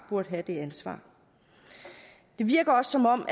burde tage det ansvar det virker også som om